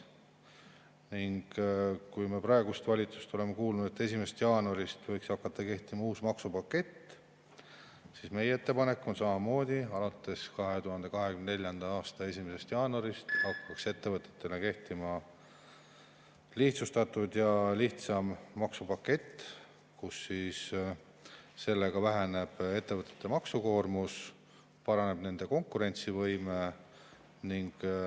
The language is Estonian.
Kui me oleme praegu valitsusest kuulnud, et 1. jaanuarist võiks hakata kehtima uus maksupakett, siis meie ettepanek on samamoodi, et alates 2024. aasta 1. jaanuarist hakkaks ettevõtete kohta kehtima lihtsustatud ja lihtsam maksupakett, millega väheneb ettevõtete maksukoormus ja paraneb nende konkurentsivõime.